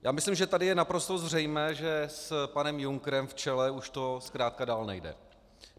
Já myslím, že tady je naprosto zřejmé, že s panem Junckerem v čele už to zkrátka dál nejde.